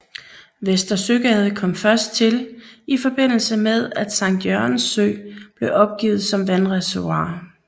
Vester Søgade kom først til i forbindelse med at Sankt Jørgens Sø blev opgivet som vandreservoir